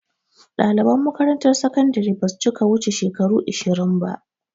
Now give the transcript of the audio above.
Ɗaliban makaramtar sakandire basu cika wuce shekaru ishirin ba